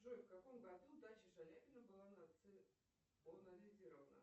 джой в каком году дача шаляпина была национальзирована